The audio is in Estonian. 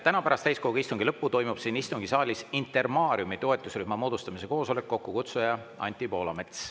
Täna pärast täiskogu istungi lõppu toimub siin istungisaalis Intermariumi toetusrühma moodustamise koosolek, kokkukutsuja Anti Poolamets.